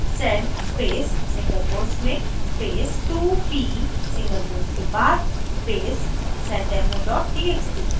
sed space single quotes में space 2p single quotes के बाद space seddemo txt